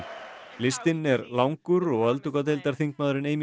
listinn er langur og öldungadeildarþingmaðurinn